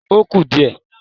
Ó kù díẹ̀